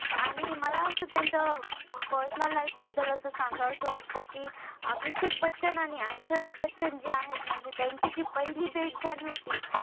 आणि मला असं त्यांच्या personal life बद्दल असं सांगावंस वाटत कि अभिषेक बच्चन आणि ऐश्वर्या बच्चन जे आहेत म्हणजे त्यांची जी पहिली भेट झाली होती.